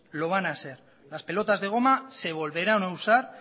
lo van a ser las pelotas de goma se volverán a usar